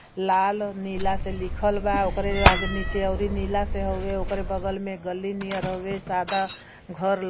लाल और नीला से लिखल बा ओकरे आगे निचे अउरी नीला से हउए उकेरे बगल में गली नियर हउए सादा घर --